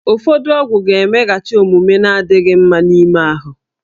Ụfọdụ ọgwụ ga-emeghachi omume na-adịghị mma n'ime ahụ